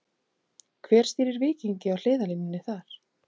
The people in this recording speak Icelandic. Hver stýrir Víkingi á hliðarlínunni þar?